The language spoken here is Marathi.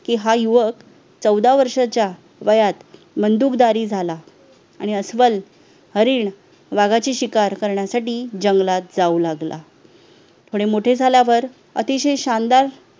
की हा युवक चौदा वर्षाच्या वयात बंदूकदारी झाला आणि अस्वल, हरिण, वाघाची शिकार करण्यासाठी जंगलात जाऊ लागला थोडे मोठे झाल्यावर अतिशय शानदार